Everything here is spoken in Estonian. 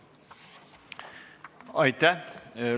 Aitäh!